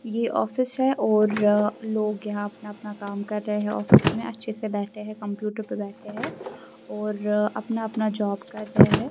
یہ ایک دفتر ہے اور یہاں لوگ اپنے کام کر رہے ہیں، دفتر میں آرام سے بیٹھ کر، کمپیوٹر پر بیٹھ کر اپنا کام کر رہے ہیں۔